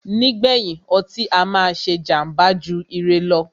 Nígbèyìn, ọtí á máà ṣé jàmbá jù ire lọ.